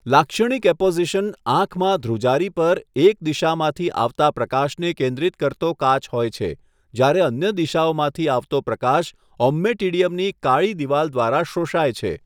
લાક્ષણિક એપોઝિશન આંખમાં ધ્રુજારી પર એક દિશામાંથી આવતા પ્રકાશને કેન્દ્રિત કરતો કાચ હોય છે, જ્યારે અન્ય દિશાઓમાંથી આવતો પ્રકાશ ઓમમેટિડિયમની કાળી દિવાલ દ્વારા શોષાય છે.